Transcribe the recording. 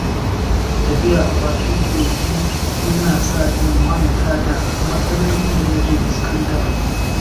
Tafiya a bakin kogi yana sa in manta da matsalolin da nake fuskanta.